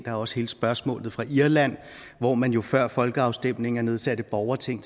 er også hele spørgsmålet fra irland hvor man jo før folkeafstemninger nedsatte borgerting